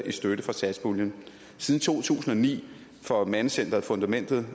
i støtte fra satspuljen siden to tusind og ni for mandecenteret fundamentets